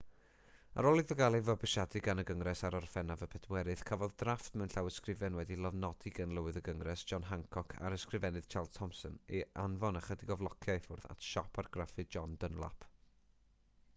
ar ôl iddo gael ei fabwysiadu gan y gyngres ar orffennaf 4 cafodd drafft mewn llawysgrifen wedi'i lofnodi gan lywydd y gyngres john hancock a'r ysgrifennydd charles thomson ei anfon ychydig o flociau i ffwrdd at siop argraffu john dunlap